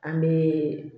An bɛ